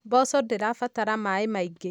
Mboco ndĩra batara maaĩ maingĩ.